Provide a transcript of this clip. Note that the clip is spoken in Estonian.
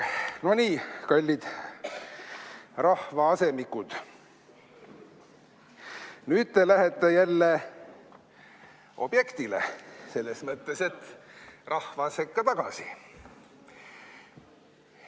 No nii, kallid rahvaasemikud, nüüd te lähete jälle objektile – selles mõttes, et rahva sekka tagasi.